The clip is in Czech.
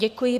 Děkuji.